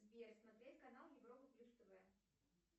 сбер смотреть канал европа плюс тв